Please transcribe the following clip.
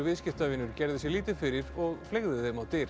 viðskiptavinur gerði sér lítið fyrir og fleygði þeim á dyr